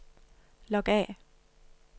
log af